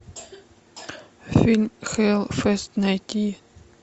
фильм хэллфест найти